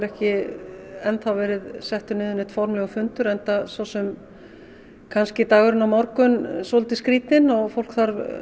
ekki enn verið settur niður formlegur fundur enda kannski dagurinn á morgun svolítið skrýtinn og fólk þarf